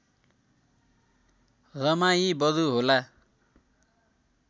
रमाई बरु होला